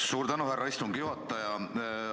Suur tänu, härra istungi juhataja!